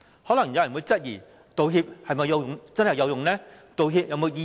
可能有人會質疑，道歉是否真的有用？道歉有否意義？